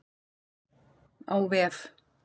Á vef